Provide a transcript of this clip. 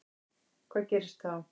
Hvað gerist þá?